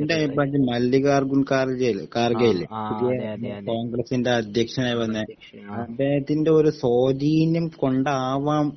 ഇൻ്റെ അഭിപ്രായത്തിൽ മല്ലിക കാർഗേൽ കാർഗേൽ പുതിയ കോൺഗ്രസിൻ്റെ അധ്യക്ഷൻ ആയി വന്ന അദ്ദേഹത്തിൻ്റെ ഒരു സ്വാധീനം കൊണ്ട് ആവാം